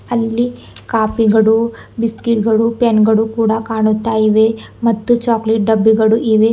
ಅಲ್ಲಿ ಕಾಪಿಗಳು ಬಿಸ್ಕೆಟ್ಗಳು ಪೆನ್ಗಳು ಕೂಡ ಕಾಣುತ್ತಾ ಇವೆ ಮತ್ತು ಚಾಕ್ಲೆಟ್ ಡಬ್ಬಿಗಳು ಇವೆ.